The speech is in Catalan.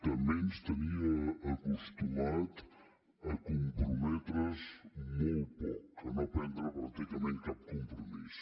també ens tenia acostumat a comprometre’s molt poc a no prendre pràcticament cap compromís